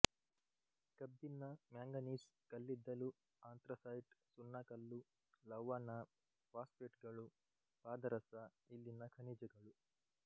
ಕಬ್ಬಿಣ ಮ್ಯಾಂಗನೀಸ್ ಕಲ್ಲಿದ್ದಲು ಆಂಥ್ರಸೈಟ್ ಸುಣ್ಣಕಲ್ಲು ಲವಣ ಫಾಸ್ಫೇಟುಗಳು ಪಾದರಸ ಇಲ್ಲಿನ ಖನಿಜಗಳು